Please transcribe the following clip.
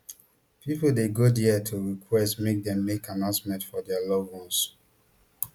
pipo dey go dia to request make dem make announcement for dia loved ones